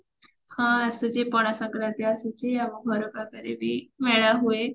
ହଁ ଆସୁଛି ପଣା ସଂକ୍ରାନ୍ତି ଆସୁଛି ଆମ ଘର ପାଖରେ ବି ମେଳା ହୁଏ